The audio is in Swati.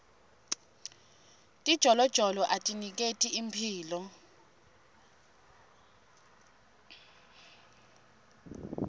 tijolojolo atiniketi imphilo